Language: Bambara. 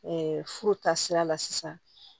furu ta sira la sisan